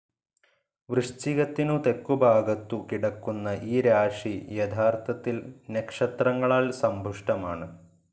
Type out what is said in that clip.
വൃശ്ചികത്തിനു തെക്കു ഭാഗത്തു കിടക്കുന്ന ഈ രാശി യത്ഥാർത്തിൽ നക്ഷത്രങ്ങളാൽ സമ്പുഷ്ടമാണ്.